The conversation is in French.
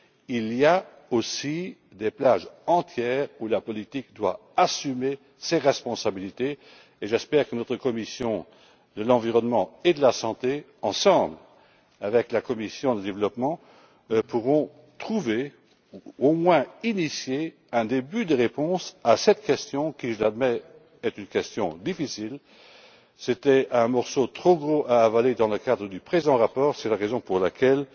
Il y a aussi des plages entières où la politique doit assumer ses responsabilités, et j'espère que notre commission de l'environnement et de la santé pourra, avec la commission du développement, trouver, ou tout du moins initier, un début de réponse à cette question, qui, je l'admets, est une question difficile. C'était un morceau trop gros à avaler dans le cadre du présent rapport, c'est la raison pour laquelle